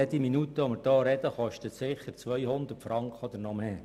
Jede Minute, die wir hier reden, kostet sicher 200 Franken oder mehr.